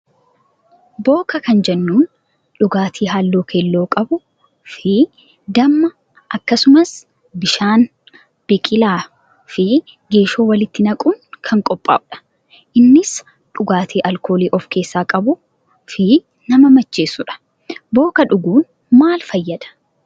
Booka kan jennuun dhugaatii halluu keelloo qabuu fi damma akkasumas bishaan, biqilaa fi geeshoo walitti naquun kan qophaa'udha. Innis dhugaatii alkoolii of keessaa qabuu fi nama macheessuudha. Booka dhuguun maal fayyada?